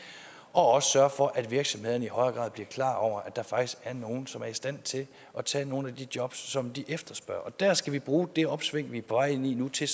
også sørge for at virksomhederne i højere grad bliver klar over at der faktisk er nogle som er i stand til at tage nogle af de jobs som de efterspørger og der skal vi bruge det opsving vi er på vej ind i nu til